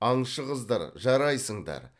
аңшы қыздар жарайсыңдар